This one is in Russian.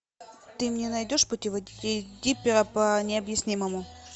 ты мне найдешь путеводитель диппера по необъяснимому